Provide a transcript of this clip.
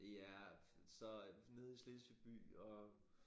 Ja så nede i Slesvig by og